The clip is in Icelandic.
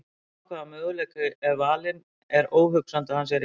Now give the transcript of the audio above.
Sama hvaða möguleiki er valinn er óhugsandi að hann sé réttur.